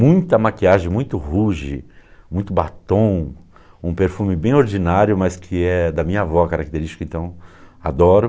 Muita maquiagem, muito rouge, muito batom, um perfume bem ordinário, mas que é da minha avó característica, então adoro.